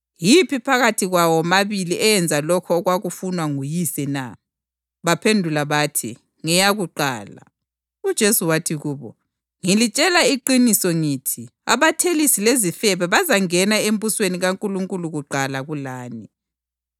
Yiphi phakathi kwawo womabili eyenza lokho okwakufunwa nguyise na?” Baphendula bathi, “Ngeyakuqala.” UJesu wathi kubo, “Ngilitshela iqiniso ngithi abathelisi lezifebe bazangena embusweni kaNkulunkulu kuqala kulani.